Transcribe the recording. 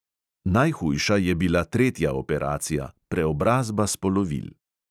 Najhujša je bila tretja operacija: preobrazba spolovil.